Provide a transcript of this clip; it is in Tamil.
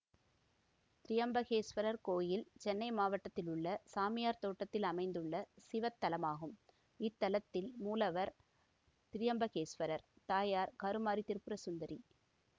திரியம்பகேசுவரர் கோயில் சென்னை மாவட்டத்திலுள்ள சாமியார்தோட்டத்தில் அமைந்துள்ள சிவத்தலமாகும் இத்தலத்தின் மூலவர் திரியம்பகேஸ்வரர் தாயார் கருமாரி திரிபுரசுந்தரி